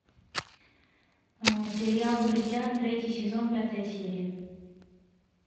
сериал друзья третий сезон пятая серия